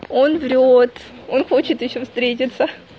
он врёт он хочет ещё встретиться